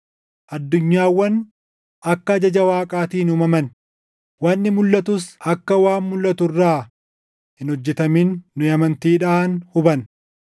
Addunyaawwan akka ajaja Waaqaatiin uumaman, wanni mulʼatus akka waan mulʼatu irraa hin hojjetamin nu amantiidhaan hubanna.